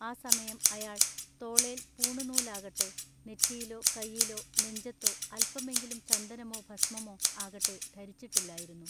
ആ സമയം ആയാൾ തോളേൽ പൂണുനൂലാകട്ടെ നെറ്റിയിലൊ കയ്യേലൊ നെഞ്ചത്തൊ അല്പമെങ്കിലും ചന്ദനമൊ ഭസ്മമോ ആകട്ടെ ധരിച്ചിട്ടില്ലായിരുന്നു.